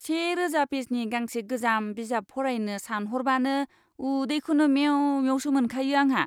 सेरोजा पेजनि गांसे गोजाम बिजाब फरायनो सानह'रबानो उदैखौनो मेव मेवसो मोनखायो आंहा।